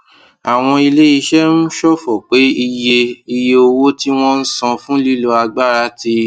àwọn iléiṣẹ ń ṣòfò pé iye iye owó tí wọn ń san fún lílo agbára ti